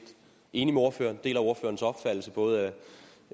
enig med ordføreren jeg deler ordførerens opfattelse både